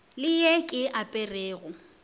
le ye ke e aperego